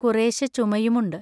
കുറേശ്ശേ ചുമയുമുണ്ട്.